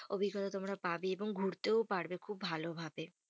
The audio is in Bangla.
অভিজ্ঞতা তোমরা পাবে। এবং ঘুরতেও পারবে খুব ভালো ভাবে।